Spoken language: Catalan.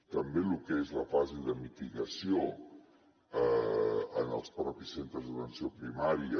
també lo que és la fase de mitigació en els propis centres d’atenció primària